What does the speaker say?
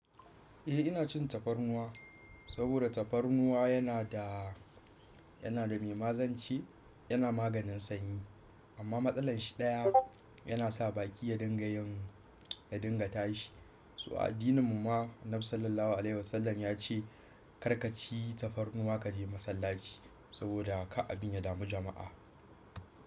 Eh ina cin tafarnuwa saboda tafarnuwa yana da, yana da mai mazance, yana maganin sanyi amma matsalar shi ɗaya yana sa baki ya dinga yin, ya dinga tashi. So addinin mu ma Nabii Sallallahu Alaihi Wasallam ya ce kar ka ci tafarnuwa ka je masallaci saboda kar abin ya dami jama'a.